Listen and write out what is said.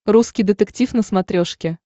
русский детектив на смотрешке